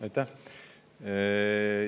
Aitäh!